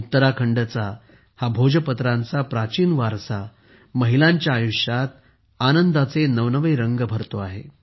उत्तराखंडचा हा भोजपत्रांचा प्राचीन वारसा महिलांच्या आयुष्यात आनंदाचे नवनवे रंग भरतो आहे